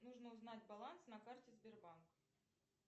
нужно узнать баланс на карте сбербанк